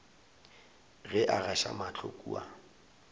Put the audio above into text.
ge a gaša mahlo kua